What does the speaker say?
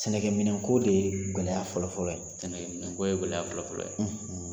Sɛnɛkɛminɛnko de ye gɛlɛya fɔlɔfɔlɔ ye gɛlɛyaya fɔlɔfɔlɔ ye